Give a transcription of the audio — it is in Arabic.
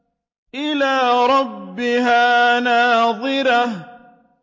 إِلَىٰ رَبِّهَا نَاظِرَةٌ